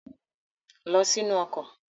Lọ sínú ọkọ̀!